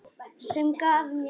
Sem gaf mér að borða.